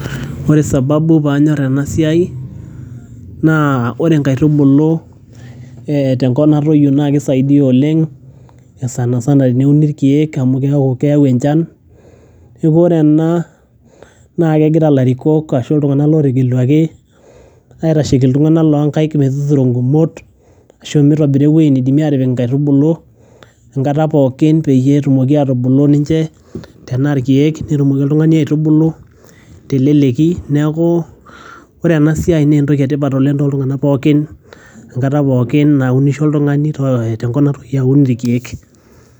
Ore sababu paanyor ena siai naa ore nkaitubulu ee tenkop natoiyo naake isaidia oleng' sana sana eneuni irkeek amu keyau enchan. Neeku ore ena naake egira ilatikok ashu iltung'anak lotegeluaki aitasheki iltung'anak loo nkaek metuturo ngumot ashu mitobira ewoji naidimi atipik nkaitubulu enkata pookin peyie etumoki atubulu ninje tenaa irkeek, netumoki oltung'ani aitubuku te leleki. Neeku ore ena siai naa entoki e tipat oleng' toltung'anak pookin enkata pookin nawunisho oltung'ani tenkop natoyio awun irkeek.